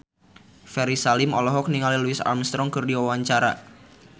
Ferry Salim olohok ningali Louis Armstrong keur diwawancara